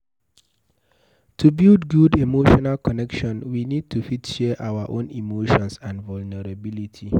to build good emotional connection we need to fit share our own emotions and vulnerability